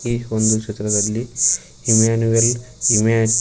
ಈ ಒಂದು ಚಿತ್ರದಲ್ಲಿ ಇಮ್ಮಾನುವೆಲ್ ಇಮಾನ್--